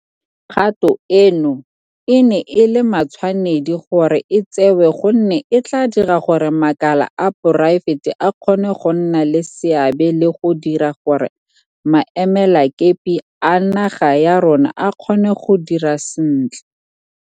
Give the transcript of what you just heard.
Kgato eno e ne e le matshwanedi gore e tsewe gonne e tla dira gore makala a poraefete a kgone go nna le seabe le go dira gore maemelakepe a naga ya rona a kgone go dira sentle.